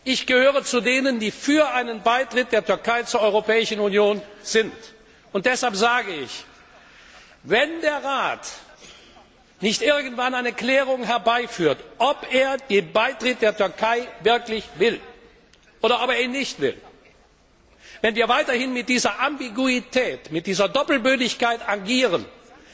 Ich gehöre zu denen, die für einen Beitritt der Türkei zur Europäischen Union sind, und deshalb sage ich Wenn der Rat nicht irgendwann eine Klärung herbei führt, ob er den Beitritt der Türkei wirklich will oder ob er ihn nicht will, wenn wir weiterhin mit dieser Ambiguität, mit dieser Doppelbödigkeit agieren, um